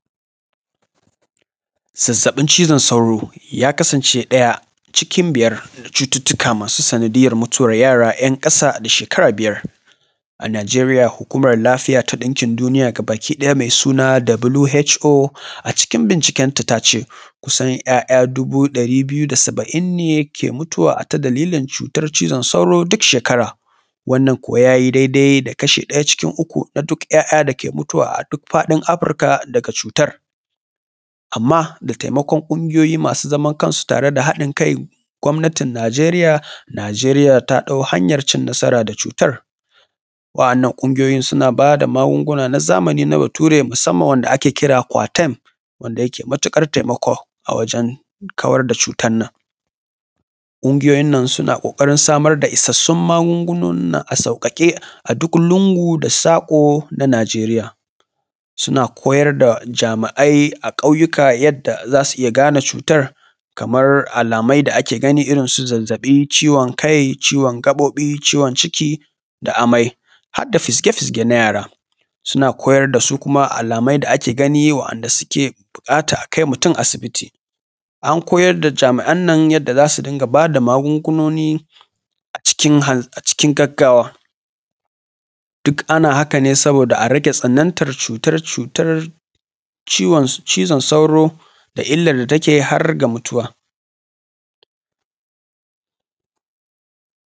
Zazzaɓin cizon sauro ya kasance ɗaya cikin biyar na cututtuka masu sanadiyyar mutuwar yara ‘yan ƙasa da shekara biyar. A Najeriya hukumar lafiya ta ɗinkin duniya ga baki ɗaya mai suna WHO acikin binciken ta ta ce kusan ‘ya’ya dubu ɗari biyu da saba’in ne ke mutuwa a ta dalilin cutar cizon sauro duk shekara. Wannan ko ya yi dai-dai da kashi ɗaya cikin uku na duk ‘ya’ya dake mutuwa a duk faɗin Afirka daga cutar. Amma da taimakon ƙungiyoyi masu zaman kansu tare da haɗin kai gwamnatin Najeriya, Najeriya ta ɗau hanyar cin nasara da cutar. Wa’annan ƙungiyoyi suna ba da magunguna na bature musamman wanda ake kira coatem da yake matuƙar taimako a wajen kawar da cutan nan. Ƙungiyoyin nan suna ƙoƙarin samar da isassun magungunonin nan a sauƙaƙe a duk lungu da saƙo na Najeriya. Suna koyar da jami’ai a ƙauyuka yanda za su gane cutar kamar alamai da ake gani irinsu zazzaɓi, ciwon kai, ciwon gaɓoɓi, ciwon ciki da amai har da fizge-fizge na yara. Suna koyar da su kuma alamai da ake gani wa’anda suke buƙata a kai mutum asibiti. An koyar da jami’an nan yanda za su dinga ba da magungunoni acikin gaggawa, duk ana haka ne saboda a rage tsanantar cutar cutar ciwon cizon sauro da illar da take har ga mutuwa.